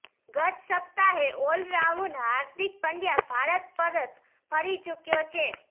ગત સપ્તાહે ઓલરાઉન્ડર હાર્દિક પંડ્યા ભારત પરત ફરી ચુક્યો છે